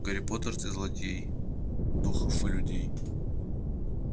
гарри поттер ты злодей духов и людей